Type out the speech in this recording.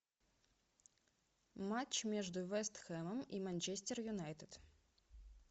матч между вест хэмом и манчестер юнайтед